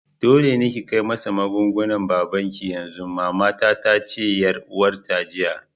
Dole ne ki kai masa magungunan babanki yanzu! mama tace ga yar uwata jiya.